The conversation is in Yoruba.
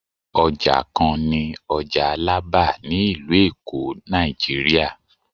oja kan ni oja alaba ni ilu elo, Naijiriya